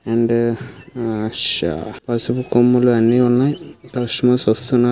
And ఆ శా పసుపు కొమ్ములు అన్నీ ఉన్నాయి. కస్టమర్స్ వస్తున్నారు.